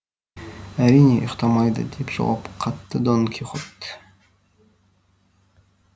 әрине ұйқтамайды деп жауап қатты дон кихот